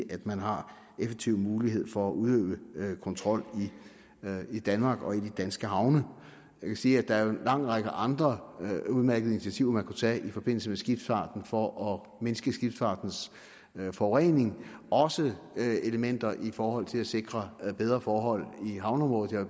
at man har effektiv mulighed for at udøve kontrol i danmark og i de danske havne jeg kan sige at der er en lang række andre udmærkede initiativer man kunne tage i forbindelse med skibsfarten for at mindske skibsfartens forurening også elementer i forhold til at sikre bedre forhold i havneområdet jeg